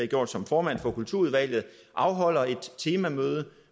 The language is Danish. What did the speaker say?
gjort som formand for kulturudvalget afholder et temamøde